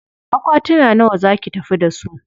Akwatuna nawa za ki tafi da su?